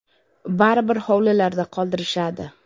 Baribir hovlilarda qoldirishadi”.